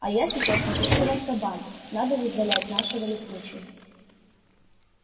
а я сейчас напишу в азкабан надо вызволять нашего лесничего